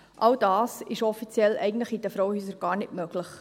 All das ist offiziell eigentlich in den Frauenhäusern gar nicht möglich.